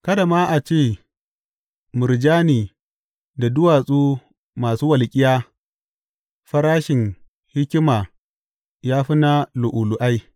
Kada ma a ce murjani da duwatsu masu walƙiya; farashin hikima ya fi na lu’ulu’ai.